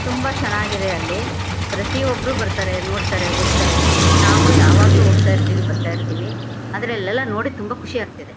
ತುಂಬಾ ಚೆನ್ನಾಗಿದೆ ಅಲ್ಲಿ. ಪ್ರತಿಯೋಬ್ರು ಬರ್ತಾರೆ ನೋಡ್ತಾರೆ ಹೋಗ್ತಾರೆ. ನಾವೂ ಯಾವಾಗಲೂ ಹೋಗ್ತಾ ಇರ್ತಿವಿ ಬರ್ತಾ ಇರ್ತಿವಿ. ಆದ್ರೆ ಅಲ್ಲೆಲ್ಲಾ ನೋಡಿ ತುಂಬಾ ಖುಷಿ ಆಗ್ತಾ ಇದೆ.